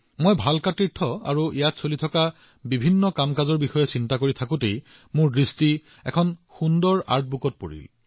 মই ভালকা তীৰ্থ আৰু তাত ঘটি থকা কামৰ বিষয়ে চিন্তা কৰি আছিলো সেই সময়তে মই এখন ধুনীয়া আৰ্টবুক লক্ষ্য কৰিছিলো